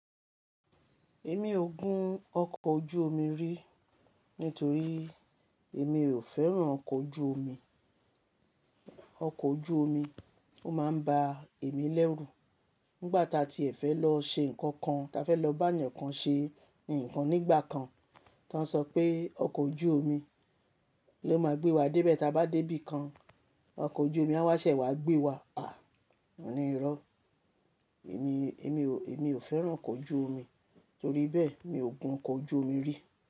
Èmi ò gun ọkọ̀ ojú omi rí nítorí èmi ò fẹ́ràn ọkọ̀ ojú omi. Ọkọ̀ ojú omi ó máa ń bá èmi lẹ́rù. Nígbà ta tí ẹ fẹ́ lọ ṣe nǹkan kan, ta fẹ́ lọ bá ẹnìkan ṣe nǹkan nígbà kan, tán sọ pé ọkọ̀ ojú omi ló máa gbé wa dé bẹ́ taáa bá dé bì kan. Ọkọ̀ ojú omi á wá ṣẹ̀ wá gbé wa. À! Moní irọ́. Èmi, èmi, èmi ò fẹ́ràn ọkọ̀ ojú omi torí bẹ́ẹ̀ mi ò gun ọkọ̀ ojú omi rí.